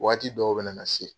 Waati dɔw bɛ na na se